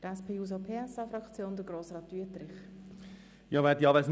Für die SP-JUSO-PSA-Fraktion hat Grossrat Wüthrich das Wort.